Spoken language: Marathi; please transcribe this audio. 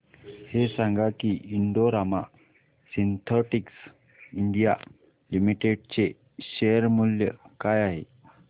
हे सांगा की Indo Rama synthetics India limited चे शेअर मूल्य काय आहे